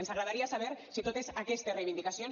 ens agradaria saber si totes aquestes reivindicacions